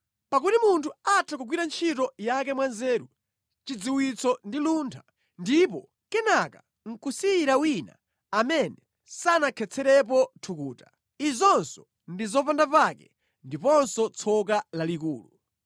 Pakuti munthu atha kugwira ntchito yake mwanzeru, chidziwitso ndi luntha, ndipo kenaka nʼkusiyira wina amene sanakhetserepo thukuta. Izinso ndi zopandapake ndiponso tsoka lalikulu.